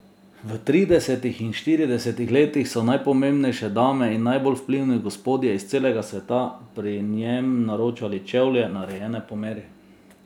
V tridesetih in štiridesetih letih so najpomembnejše dame in najbolj vplivni gospodje iz celega sveta pri njem naročali čevlje, narejene po meri.